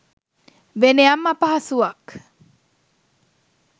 වෙනයම් අපහසුවක්